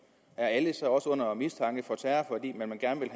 er alle så også under mistanke for terror fordi man gerne